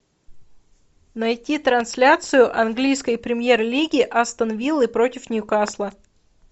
найти трансляцию английской премьер лиги астон виллы против ньюкасла